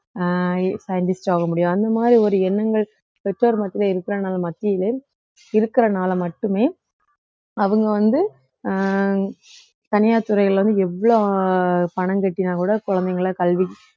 அஹ் scientist ஆக முடியும் அந்த மாதிரி ஒரு எண்ணங்கள் பெற்றோர் மத்தியில இருக்கிறதுனால மத்தியிலே இருக்கிறனால மட்டுமே அவுங்க வந்து அஹ் தனியார் துறையில வந்து எவ்வளோ பணம் கட்டினால் கூட குழந்தைகளை கல்வி